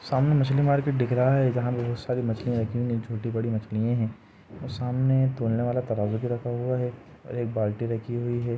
सामने मछली मार्केट दिख रहा है जहां बहोत सारी मछलीया रखी हुई है छोटी बड़ी मछलिए है और सामने तोलने वाला तराज़ू भी रखा हुआ है और एक बाल्टी रखी हुई है।